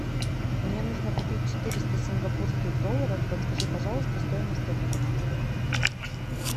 мне нужно купить четыреста сингапурских долларов подскажи пожалуйста стоимость обмена